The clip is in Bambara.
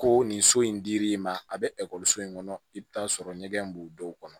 Ko nin so in dir'i ma a bɛ ekɔliso in kɔnɔ i bɛ taa sɔrɔ ɲɛgɛn b'u dɔw kɔnɔ